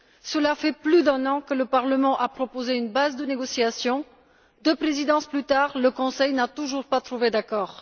Cela fait plus d'un an que le Parlement a proposé une base de négociations. Deux présidences plus tard, le Conseil n'a toujours pas trouvé d'accord.